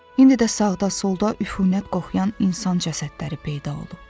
İndi də sağda-solda üfunət qoxuyan insan cəsədləri peyda olub.